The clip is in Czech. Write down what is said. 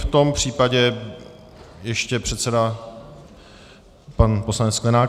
V tom případě ještě předseda pan poslanec Sklenák.